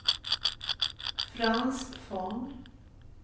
Frans Von